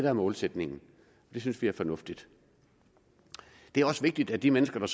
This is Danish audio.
er målsætningen det synes vi er fornuftigt det er også vigtigt at de mennesker